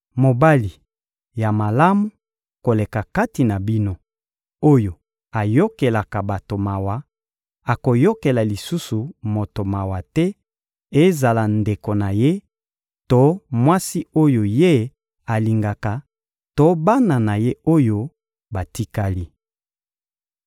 Mobali ya malamu koleka kati na bino, oyo ayokelaka bato mawa, akoyokela lisusu moto mawa te: ezala ndeko na ye to mwasi oyo ye alingaka to bana na ye oyo batikali.